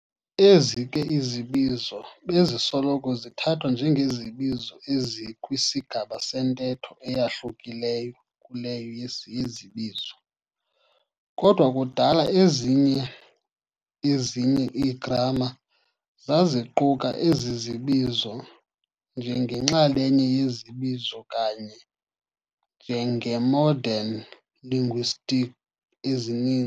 Ezi ke izibizo bezisoloko zithathwa njengezibizo ezikwisigaba sentetho eyahlukileyo kuleyo yezibizo, kodwa kudala ezinye ezinye ii-gramma zaziquka ezi zibizo njengenxalenye yezibizo kanye njenge-modern linguist ezini.